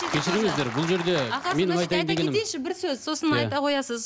кешіріңіздер бұл жерде ағасы мына жерде айта кетейінші бір сөз сосын айта қоясыз